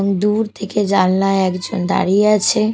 দূর থেকে জালনায় একজন দাঁড়িয়ে আছে।